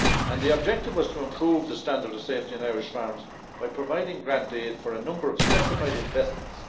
The objective was to improve the standard of safety on Irish farms by providing grant aid for a number of specified investments.